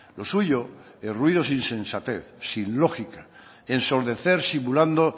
lo suyo en ruidos e insensatez sin lógica ensombrecer simulando